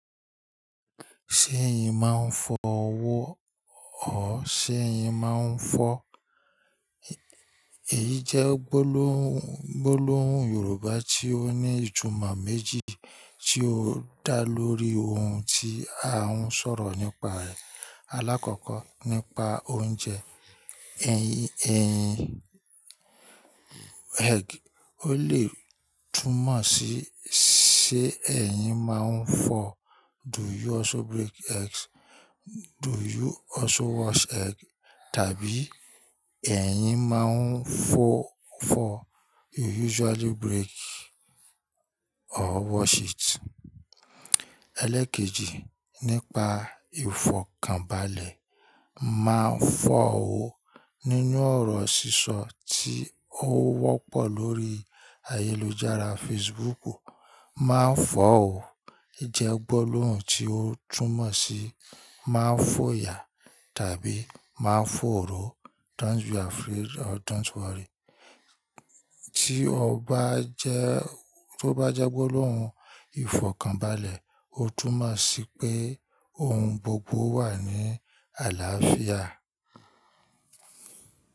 Ṣé ẹ̀yin máa ń fọ owó ọ̀? Ṣé ẹ̀yin máa ń fọ? Èyí jẹ́ gbólóhùn, gbólóhùn Yorùbá tí ó ní ìtumọ̀ méjì tí ó dá lórí ohun tí a ń sọ̀rọ̀ nípa ẹ̀, alákọ̀ọ́kọ́ nípa oúnjẹ. Ẹ̀yin, ẹ̀yin, egg. Ó lè túmọ̀ sí ṣé ẹ̀yin máa ń fọ? Do you also break eggs? Do you also wash egg? Tàbí ẹ̀yin máa ń fọ fọ? You usually break or wash it. Ẹlẹ́ẹ̀kejì, nípa ìfọ̀kànbalẹ̀. Ma fọ́ ọ. Nínú ọ̀rọ̀ sísọ tí ó wọ́pọ̀ lórí ayélujára Facebook. Ma fọ́ ọ. Jẹ́ gbólóhùn tí ó túmọ̀ sí má fòyà tàbí má fòòró. Don't be afraid or don't worry. Tí ọ bá jẹ́, tó bá jẹ́ gbólóhùn ìfọ̀kànbalẹ̀, ó túmọ̀ sí pé ohun gbogbo wà ní àlàáfíà.